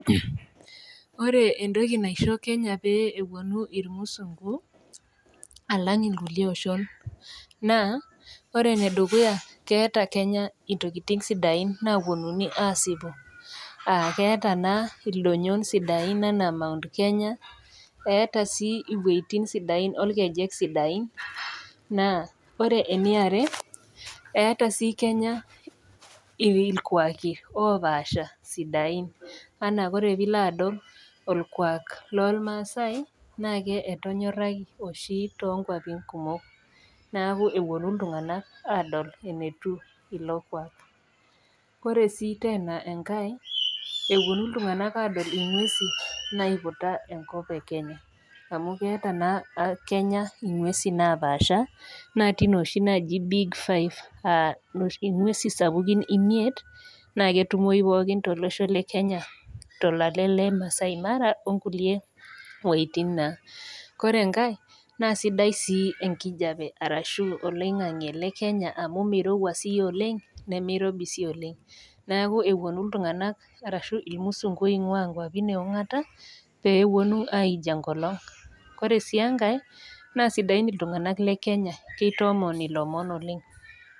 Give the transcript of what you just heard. Kore entoki naiko Kenya pee epuonu ilmusungu alang' ilkulie oshon naa, ore ene dukuya keata Kenya intokitin sidain naapuonuni aasipu, aa keata naa ildonyon sidain anaa Mt Kenya, eata sii inwuetin sidain olkejek sidain, naa ore ene are eata sii Kenya ilkwaaki opaasha sidain anaa pee ilo adol olkwak loolmaasai naa ketonyoraki oshi too inkwapin kumok, neaku epuonu iltung'ana adol enetiu ilo kwaak. Ore sii teena enkai, epuonu iltung'ana adol inguesi naiputa enkop e Kenya, amu keata naa Kenya inguesi napaasha, naatii nooshi naaji Big Five aa inguesi sapukin imiet naa ketumoyi pooki tolosho le Kenya tolale le Maasai mara o nkulie wuetin naa. Kore enkai naa sidai sii enkijape arashu oloing'ang'e le Kenya amu meirouwa sii oleng' nemeirobi sii oleng', neaku epuonu iltung'ana ashu ilmusungu oing'waa inkwapi e ong'ata pee epuonu aij enkolong'. Kore sii enkai, naa sidain iltung'ana le Kenya amu keitoomon ilomon oleng'.